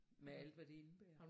Med alt hvad det indebærer